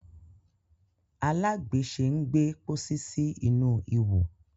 alagbese ń gbé pósí sí inú Iwọ.